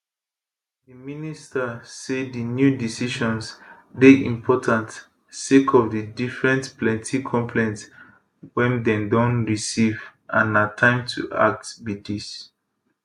di minister say dis new decisions dey important sake of di different plenti complaints wey dem don receive and na time to act be dis